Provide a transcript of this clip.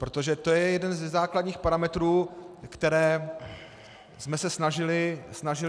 Protože to je jeden ze základních parametrů, které jsme se snažili řešit.